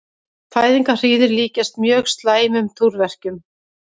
Fæðingarhríðir líkjast mjög slæmum túrverkjum.